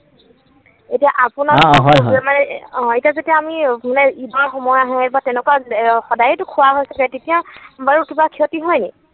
এতিয়া আপোনা, হয় হয়। অ এতিয়া যদি আমি মানে ঈদৰ সময় আহে বা তেনেকুৱা সদায়েটো খোৱা হৈছিলে, তেতিয়া বাৰু কিবা ক্ষতি হয় নেকি?